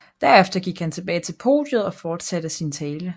Derefter gik han tilbage til podiet og fortsatte sin tale